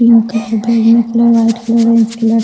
pink colour बैगनी colour white colour --